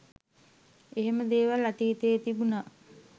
එහෙම දේවල් අතීතයේ තිබුණ